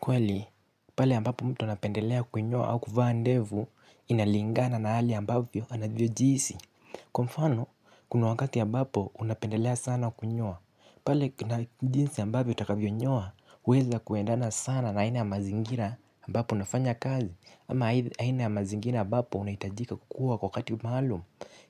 Kweli, pale ambapo mtu anapendelea kunyoa au kuvaandevu inalingana na hali ambavyo anavyo jihsi. Kwa mfano, kuna wankati ambapo unapendelea sana kunyoa. Pale na jinsi ambavyo utakavyo nyoa, huweza kuendana sana na aina ya mazingira ambapo unafanya kazi. Ama aina ya mazingira ambapo unahitajika kuwa kwa wakati maalum.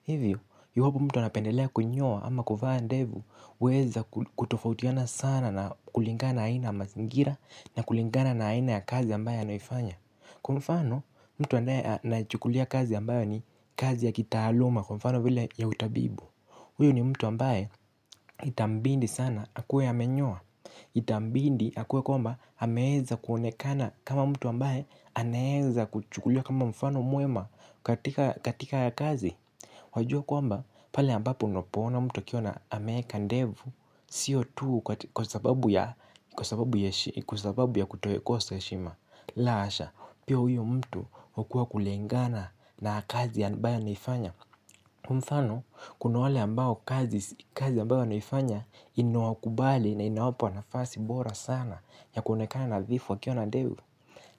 Hivyo, iwapo mtu anapendelea kunyoa ama kuvaa ndevu, yaweza kutofautiana sana kulingana na aina ya mazingira na kulingana na aina ya kazi ambayo anafanya. Kwa mfano, mtu anayefanya kazi ambayo ni kazi ya kitaaluma kwa mfano vile ya utabibu huyu ni mtu ambaye itambidi sana, akuwe amenyoa. Itambidi akuwe kwamba anaweza kuonekana kama mtu ambaye anaweza kuchukulia kama mfano mwema katika ya kazi. Wajua kwamba pale ambapo unapoona mtu akiwa ameweka ndevu. Sio tu kwa sababu ya kukosa heshima la hasha, pia huyu mtu kwa kulingana na kazi ambayo anaifanya kwa mfano, kuna wale ambao kazi ambayo wanafanya inakubali na inawapa nafasi bora sana ya kuonekana nadhifu wakiona ndevu.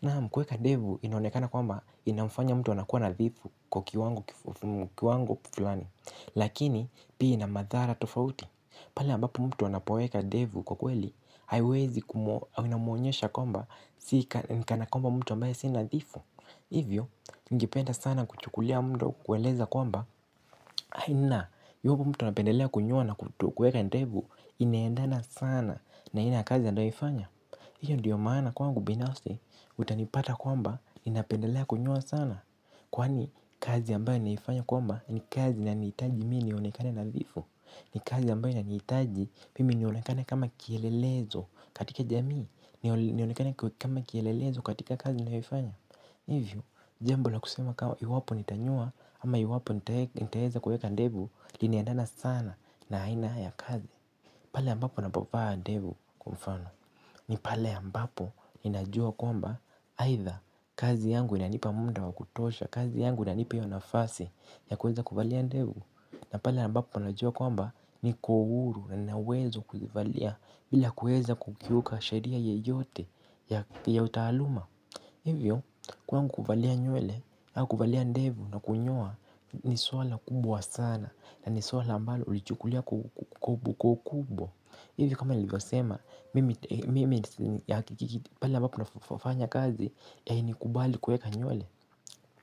Naam kuweka ndevu inaonekana kwamba inafanya mtu kuonekana kuwa nadhifu kwa kiwango fulani. Lakini pia ina madhara tofauti, pale ambapo mtu anapoweka ndevu kwa kweli inamwonyesha kwamba ni mtu asiye nadhifu. Hivyo ningependa sana kuchukuwa muda kukueleza kwamba iwapo mtu anapendelea kunyoa ama kuweka ndevu inaendana sana na aina ya kazi ambayo anaifanya, hiyo ndio maana kwangu binafsi. Utanipata kwamba ninapendelea kunyoa sana, kwani kazi ambayo naifanya kwamba ni kazi inanihitaji mimi nionekane nadhifu. Ni kazi ambayo inaniitaji mimi nionekane kama kielelezo katika jamii. Nionekane kama kielelezo katika kazi nayoifanya. Hivyo, jambo la kusema kama iwapo nitanyoa ama iwapo nitaweza kuweka ndevu, linaendana sana na aina ya kazi pale ambapo ninapo vaa ndevu kwa mfano. Ni pale ambapo ninajua kwamba aitha kazi yangu inanipa muda wa kutosha kazi yangu inanipa nafasi ya kuweza kuvalia ndevu. Na pale ambapo najua kwamba niko huru na naweza kuzivalia bila kuweza kukiuka sheria yoyote ya utaaluma. Hivyo kwangu kuvalia nywele kuvalia ndevu na kunyoa ni swala kubwa sana na ni swala mbalo hulichukulia kwa ukubwa. Hivyo kama nilivyosema mimi pale ambapo nafanya kazi, hainikubalii kuweka nywele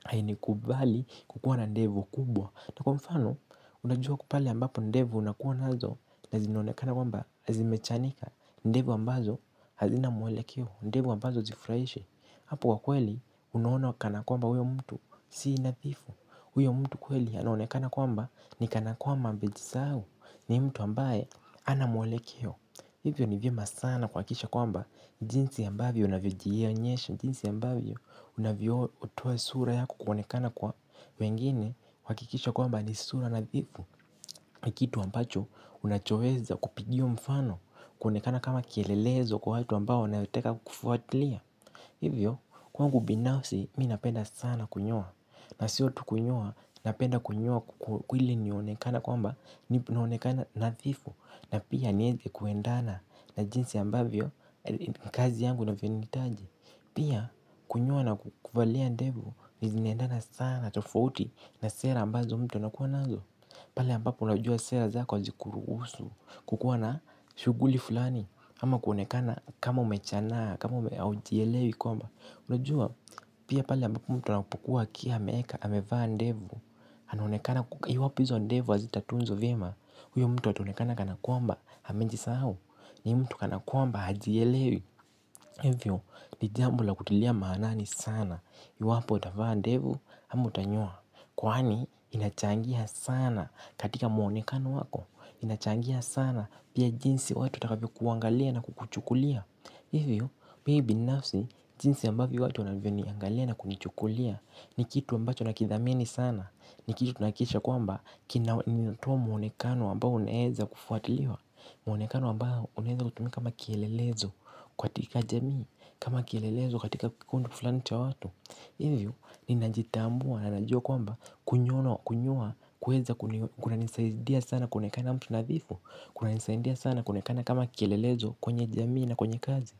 hainikubalii kukua na ndevu kubwa. Kwa mfano unajua pale ambapo ndevu unazokuwa nazo na zinaonekana kwamba zimechanika, ndevu ambazo hazina mwelekeo, ndevu ambazo hazifuraishi hapo kwa kweli unaona kana kwamba huyo mtu si nathifu, huyo mtu kweli anaonekana kwamba ni kanakwamaba amejisahau ni mtu ambaye hana mwelekeo. Hivyo ni vyema sana kuhakikisha kwamba jinsi ambavyo unavyojionyesha, jinsi ambavyo unavyotoa sura yako kuonekana kwa wengine. Hakikisha kwamba ni sura nadhifu ni kitu ambacho unachoweza kupigiwa mfano kuonekana kama kielelezo kwa watu ambao wanataka kufuatilia. Hivyo kwangu binafsi mimi napenda sana kunyoa na sio tu kunyoa, napenda kunyoa ili nionekane kwamba nionekane nadhifu, na pia niweze kuendana na jinsi ambavyo kazi yangu inavyo nihitaji. Pia kunyoa na kuvalia ndevu zinaendana sana tofauti na sera ambazo mtu anakuwa nazo pale ambapo unajua sera zako hazikuruhusu kukuwa na shughuli fulani ama kuonekana kama umechanaa, kama hujielewi pia pale ambapo mtu anapokuwa ameweka, amevaa ndevu anaonekana iwapi hizo ndevu hazitatunzwa vyema, huyo mtu ataonekana kana kwamba amejisahau, ni mtu kana kwamba hajielewi, hivyo ni jambo la kutilia maanane sana, iwapo utavaa ndevu, ama utanyoa, kwani inachangia sana katika muonekano wako, inachangia sana pia jinsi watu watakavyo kuangalia na kukuchukulia, hivyo binafsi jinsi ambavyo watu wanavyoniangalia na kunichukulia, ni kitu ambacho nakithamini sana, ni kitu tunahakikisha kwamba kinatoa muonekano kwamba unaweza kufuatiliwa. Muonekano ambao unaweza kutumika kama kielelezo katika jamii. Kama kielelezo katika kikundu fulani cha watu. Hivyo ninajitambua na ninajua kwamba kunyoa kuna nisaidia sana kuonekana mtu nathifu, kuna nisaidia sana kuonekana kama kielelezo kwenye jamii na kwenye kazi.